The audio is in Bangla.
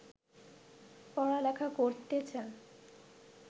পড়ালেখা করতেছেন